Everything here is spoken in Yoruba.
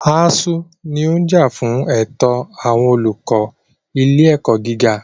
ASUU ní ó ń jà fún ẹ̀tọ́ àwọn olùkọ́ ilé ẹ̀kọ́ gíga.